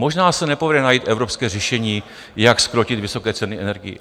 Možná se nepovede najít evropské řešení, jak zkrotit vysoké ceny energií.